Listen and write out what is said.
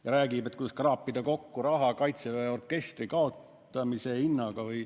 Ta räägib, kuidas kraapida kokku raha Kaitseväe orkestri kaotamise hinnaga.